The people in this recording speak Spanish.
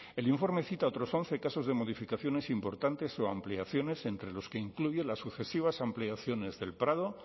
el informe cita otros once casos de modificaciones importantes o ampliaciones entre los que incluye las sucesivas ampliaciones del prado